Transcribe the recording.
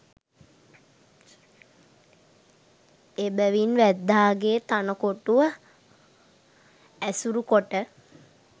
එබැවින් වැද්දාගේ තණ කොටුව ඇසුරු කොට